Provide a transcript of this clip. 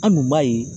An dun b'a ye